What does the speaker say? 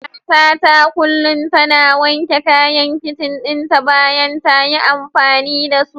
Matata kullum tana wanke kayan kicin dinta bayan ta yi amfani da su.